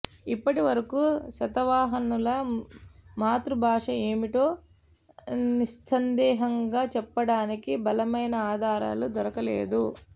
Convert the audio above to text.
ఇప్పటి వరకు శాతవాహనుల మాతృభాష ఏమిటో నిస్సందేహంగా చెప్పడానికి బలమైన ఆధారాలు దొరకలేదు